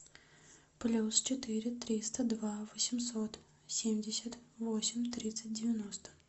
плюс четыре триста два восемьсот семьдесят восемь тридцать девяносто